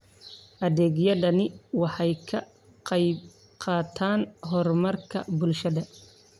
Adeegyadani waxay ka qayb qaataan horumarka bulshada.